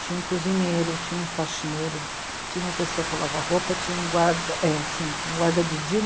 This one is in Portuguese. Tinha um cozinheiro, tinha um faxineiro, tinha uma pessoa para lavar roupa, tinha um guarda, é cinco, um guarda de dia